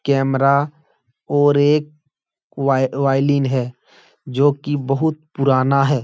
Camera और एक वाय वायलिन है जो कि बहोत पुराना है।